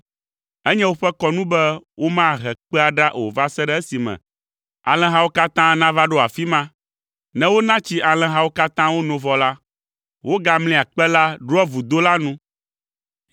Enye woƒe kɔnu be womahe kpea ɖa o va se ɖe esime alẽhawo katã nava ɖo afi ma. Ne wona tsi alẽhawo katã wono vɔ la, wogamlia kpe la ɖoa vudo la nu.